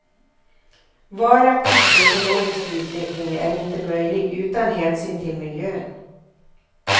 Varaktig ekonomisk utveckling är inte möjlig utan hänsyn till miljön.